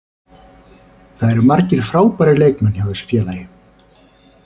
Það eru margir frábærir leikmenn hjá þessu félagi.